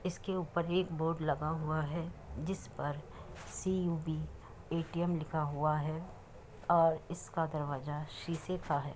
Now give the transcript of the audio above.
इसके ऊपर एक बोर्ड लगा हुआ है। जिसपर सीयूबि ए.टी.एम. लिखा हुआ है और इसका दरवाजा शीशे का है।